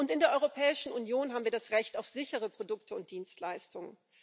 In der Europäischen Union haben wir das Recht auf sichere Produkte und Dienstleistungen.